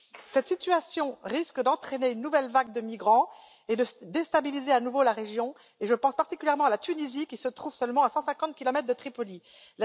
Cette situation risque d'entraîner une nouvelle vague de migrants et de déstabiliser à nouveau la région je pense particulièrement à la Tunisie, qui se trouve à 150 kilomètres seulement de Tripoli.